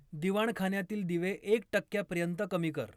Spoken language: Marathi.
दिवाणखान्यातील दिवे एक टक्क्यापर्यंत कमी कर